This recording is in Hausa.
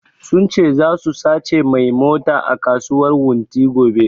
Sun ce zasu sace mai mota a kasuwar wunti gobe